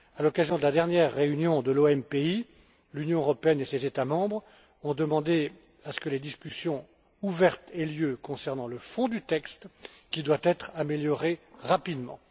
À l'occasion de la dernière réunion de l'OMPI, l'Union européenne et ses États membres ont demandé que des discussions ouvertes aient lieu concernant le fond du texte qui doit être amélioré rapidement.